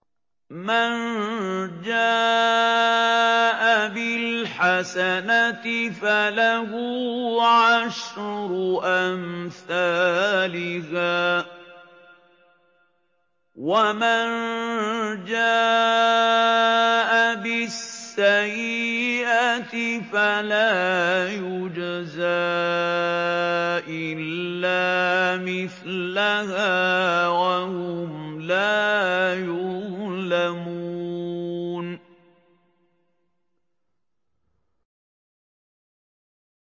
مَن جَاءَ بِالْحَسَنَةِ فَلَهُ عَشْرُ أَمْثَالِهَا ۖ وَمَن جَاءَ بِالسَّيِّئَةِ فَلَا يُجْزَىٰ إِلَّا مِثْلَهَا وَهُمْ لَا يُظْلَمُونَ